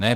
Ne.